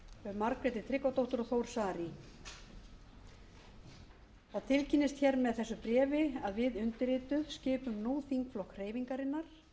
margréti tryggvadóttur og þór saari það tilkynnist með þessu bréfi að við undirrituð skipum nú þingflokk hreyfingarinnar